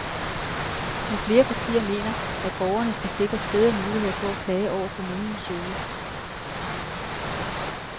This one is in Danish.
Men flere partier mener, at borgerne skal sikres bedre muligheder for at klage over kommunens service.